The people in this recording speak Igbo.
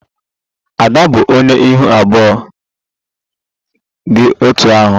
Ada bụ onye ihu abụọ dị otú ahụ